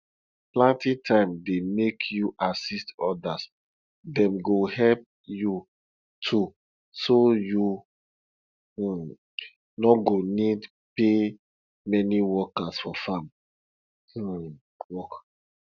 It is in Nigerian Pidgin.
planting time dey make you assist others dem go help you too so you um no go need pay many workers for farm um work